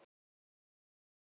Hvað meinarðu?